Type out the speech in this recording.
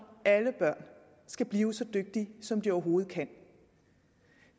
alle børn skal blive så dygtige som de overhovedet kan